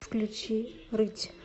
включи рыть